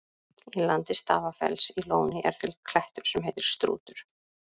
Í landi Stafafells í Lóni er til klettur sem heitir Strútur.